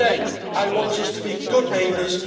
As I say, I want us to be good neighbours